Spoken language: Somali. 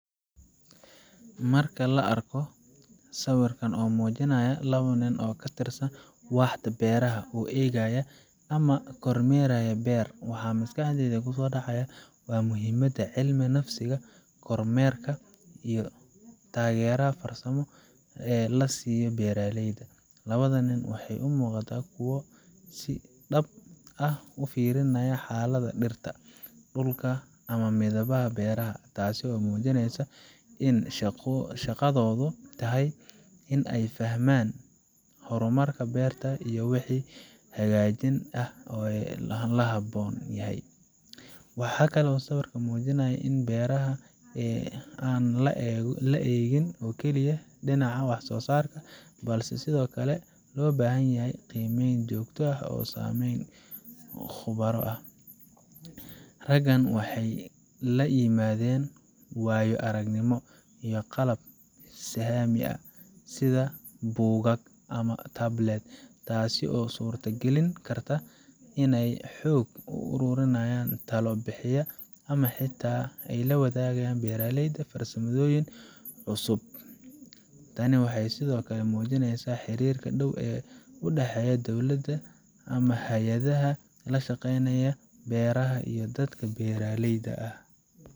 Marka aan arko sawirkan oo muujinaya laba nin oo ka tirsan waaxda beeraha oo eegaya ama kormeeraya beer, waxa maskaxdayda ku soo dhacaya waa muhiimadda cilmi nafsiga, kormeerka, iyo taageerada farsamo ee la siiyo beeraleyda. Labada nin waxay u muuqdaan kuwo si dhab ah u fiirinaya xaaladda dhirta, dhulka, ama midhaha beeraha taasoo muujinaysa in shaqadoodu tahay in ay fahmaan horumarka beerta iyo wixii hagaajin ah ee loo baahan yahay. Waxa kale oo sawirku muujinayaa in beeraha aan lagu eegin oo keliya dhinaca wax soosaarka, balse sidoo kale loo baahan yahay qiimeyn joogto ah oo ay sameeyaan khubaro aqoon ah. Raggan waxay la yimaadeen waayo aragnimo iyo qalab sahamin ah sida buugag ama tablets, taasoo suurtagelin karta in ay xog ururiyaan, talo bixiyaa, ama xitaa ay la wadaagaan beeraleyda farsamooyin cusub. Tani waxay sidoo kale muujinaysaa xiriirka dhow ee u dhexeeya dowladda ama hay'adaha la shaqeeya beeraha iyo dadka beeraleyda ah.